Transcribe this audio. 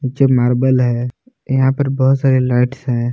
जो मार्बल है यहां पर बहुत सारी लाइट्स हैं।